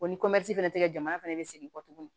O ni fɛnɛ te kɛ jamana fɛnɛ be segin kɔ tuguni